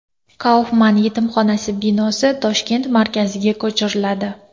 Kaufman yetimxonasi binosi Toshkent markaziga ko‘chiriladi.